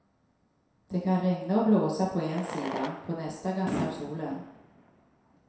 Det kan regna och blåsa på en sida, på nästa gassar solen.